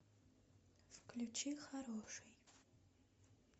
включи хороший